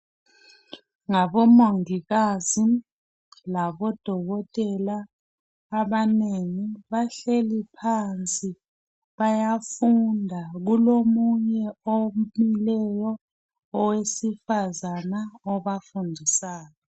Ngabomongikazi labo dokotela abanengi, bahleli phansi bayafunda, kulomunye omileyo owesifazana obafundisayo.